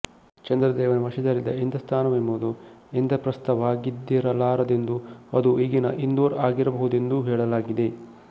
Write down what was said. ಚಂದ್ರದೇವನ ವಶದಲ್ಲಿದ್ದ ಇಂದ್ರಸ್ಥಾನವೆಂಬುದು ಇಂದ್ರಪ್ರಸ್ಥವಾಗಿದ್ದಿರಲಾರದೆಂದು ಅದು ಈಗಿನ ಇಂದೂರ್ ಆಗಿರಬಹುದೆಂದೂ ಹೇಳಲಾಗಿದೆ